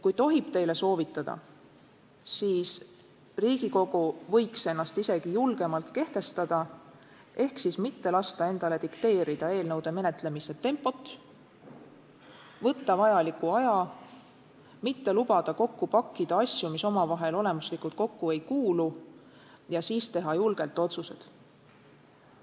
Kui tohib teile soovitada, siis Riigikogu võiks ennast isegi julgemalt kehtestada ehk siis mitte lasta endale dikteerida eelnõude menetlemise tempot, võtta vajaliku aja, mitte lubada kokku pakkida asju, mis omavahel olemuslikult kokku ei kuulu, ja siis teha julgelt otsuseid.